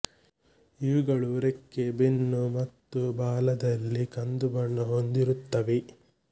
ಇವುಗಳು ರೆಕ್ಕೆ ಬೆನ್ನು ಮತ್ತು ಬಾಲದಲ್ಲಿ ಕಂದು ಬಣ್ಣ ಹೊಂದಿರುತ್ತವೆ